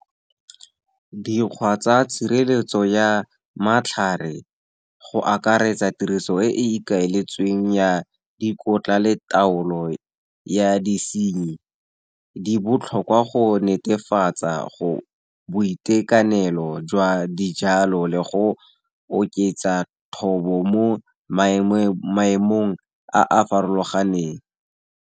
Dikgwa tsa tshireletso ya matlhare, go akaretsa tiriso e e ikaeletsweng ya dikotla le taolo ya disenyi, di botlhokwa go netefatsa boitekanelo jwa dijalo le go oketsa thobo mo maemong a a farologaneng.